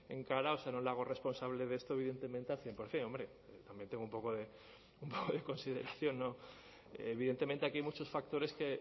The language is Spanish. en cara o sea no le hago responsable de esto evidentemente al cien por ciento hombre también tengo un poco de consideración no evidentemente aquí hay muchos factores que